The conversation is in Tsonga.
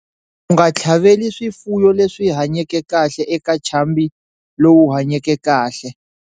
U nga tlhaveli swifuwo leswi hanyeke kahle eka ntshambi lowu hanyeke kahle.